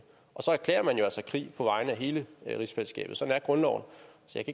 og så erklærer man altså krig på vegne af hele rigsfællesskabet sådan er grundloven så